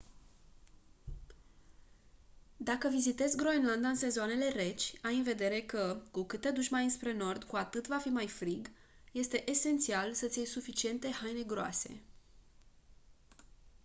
dacă vizitezi groenlanda în sezoanele reci ai în vedere că cu cât te duci mai înspre nord cu atât va fi mai frig este esențial să-ți iei suficiente haine groase